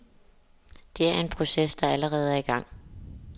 Det er en proces der allerede er i gang.